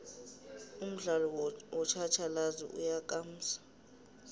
umdialo wotjhatjhalazi uyakamsa